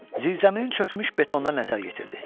Zirzəminin çökmüş betona nəzər yetirdi.